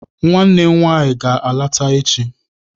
Nwanne m nwaanyị ga-alata echi.